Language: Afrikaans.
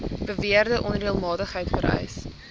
beweerde onreëlmatigheid vereis